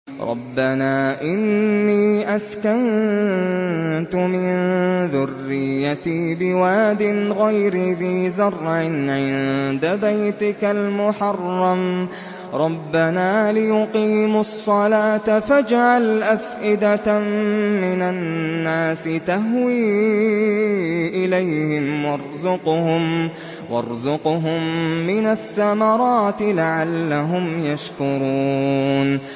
رَّبَّنَا إِنِّي أَسْكَنتُ مِن ذُرِّيَّتِي بِوَادٍ غَيْرِ ذِي زَرْعٍ عِندَ بَيْتِكَ الْمُحَرَّمِ رَبَّنَا لِيُقِيمُوا الصَّلَاةَ فَاجْعَلْ أَفْئِدَةً مِّنَ النَّاسِ تَهْوِي إِلَيْهِمْ وَارْزُقْهُم مِّنَ الثَّمَرَاتِ لَعَلَّهُمْ يَشْكُرُونَ